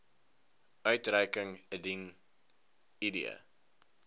uitreiking indien id